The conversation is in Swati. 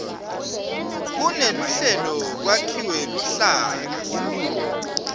kuneluhlelo kwakhiwe luhlaka